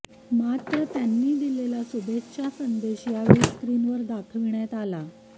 माञ त्यांनी दिलेल्या शुभेच्छा संदेश यावेळी स्क्रीनवर दाखविण्यात आला